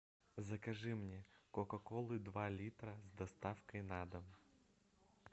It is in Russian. закажи мне кока колу два литра с доставкой на дом